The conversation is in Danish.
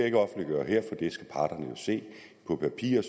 ikke offentliggøre her for det skal parterne jo se på papir